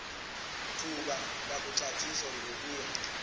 thuba lakuxhathisa ungobiya